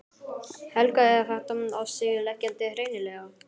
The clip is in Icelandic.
Helga: Er þetta á sig leggjandi hreinlega?